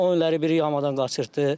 O illəri biri yamadan qaçırtdı.